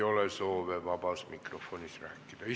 Rohkem soove vabas mikrofonis rääkida ei ole.